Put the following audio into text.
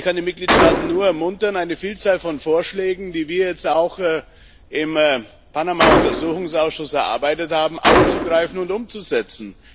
Ich kann die Mitgliedstaaten nur ermuntern, eine Vielzahl von Vorschlägen, die wir jetzt auch im Panama Untersuchungsausschuss erarbeitet haben, aufzugreifen und umzusetzen.